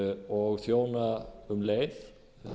og þjóna um leið